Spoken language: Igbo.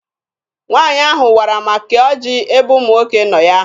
Nwaanyị ahụ wara ma kee ọjị ebe ụmụ nwoke nọ ya.